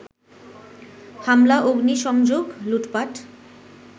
হামলা, অগ্নিসংযোগ, লুটপাট